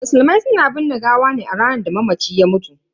Musulmai suna binne gawa ne a ranar da mamaci ya mutu.